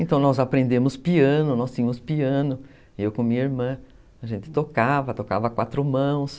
Então nós aprendemos piano, nós tínhamos piano, eu com minha irmã, a gente tocava, tocava quatro mãos.